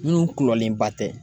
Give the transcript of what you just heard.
Minnu kulɔlenba tɛ